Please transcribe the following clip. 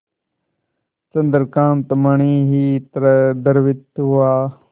चंद्रकांत मणि ही तरह द्रवित हुआ